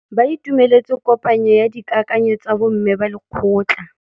Ba itumeletse kôpanyo ya dikakanyô tsa bo mme ba lekgotla.